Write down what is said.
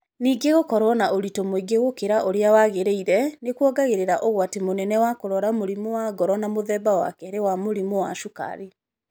Ningĩ gũkorũo na ũritũ mũingĩ gũkĩra ũrĩa wagĩrĩire nĩ kuongagĩrĩra ũgwati mũnene wa kũrũara mũrimũ wa ngoro na mũthemba wa kerĩ wa mũrimũ wa cukari.